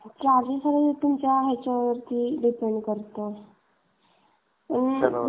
charges सगळे तुमच्या ह्याच्यावरती डिपेंड करत्यात आणि